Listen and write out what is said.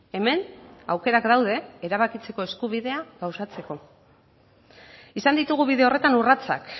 hemen aukerak daude erabakitzeko eskubidea gauzatzeko izan ditugu bide horretan urratsak